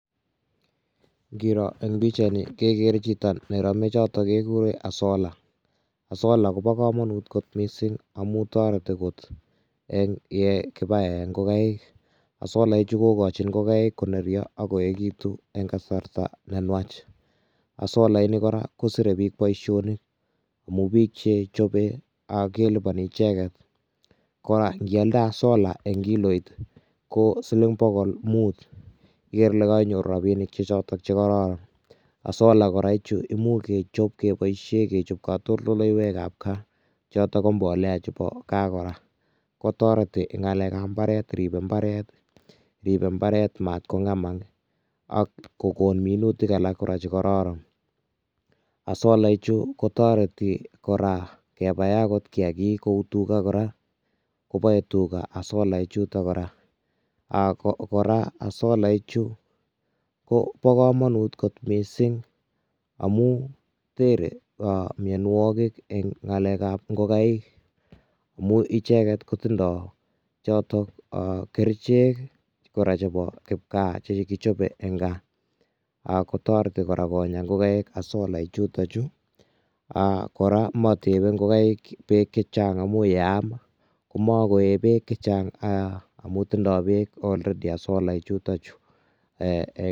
Ngiroo eng pichaini kegere chito ne ramechoto kiguren asola. Asola koba kamanut kot mising amun toreti kot eng ye kipaen ngogaik. Asola ichu kogoin ngogaik konerio ak koekitun eng kasarta ne nuach. Asola ini kora kosire biich boisionik amun biik che chobe kelupani icheget. Ko ngialde asola eng kiloit, ko siling bogol mut. Igere ile kainyoru rapinik choto che kororon. Asola kora ichu imuch kechop keboisien kechop katoldolaikab kaa choto ko mbolea chebo kaa kora. Kotoreti ngalekab mbaret, ribe mbaret mat kongemak ak kogon minutik alak kora che kororon. Asola ichu kotoreti kora kepay agot kiagik ku tuga, koboe tuga asola ichuto kora ago kora asola ichu kobo kamanut kot mising amun tere aa mianwogik eng ngalekab ngogaik amu icheget kotindo choto o kerichek kora chebo kipgaa che kichobe eng kaa kotareti kora konya ngogaik asola ichuto chu. Kora motebe ingogaik beek che chang amu yeam komakoe beek che chang amun tindo beek already asola ichuto chu ee.